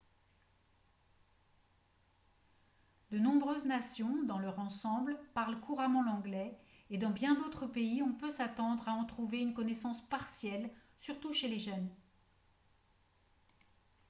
de nombreuses nations dans leur ensemble parlent couramment l'anglais et dans bien d'autres pays on peut s'attendre à en trouver une connaissance partielle surtout chez les jeunes